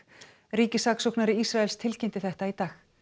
ríkissaksóknari Ísraels tilkynnti þetta í dag